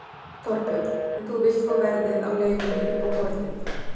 Þorbjörn: En þú vilt fá verðið á leigunni upp á borðið?